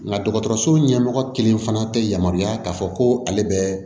Nga dɔgɔtɔrɔso ɲɛmɔgɔ kelen fana tɛ yamaruya k'a fɔ ko ale bɛ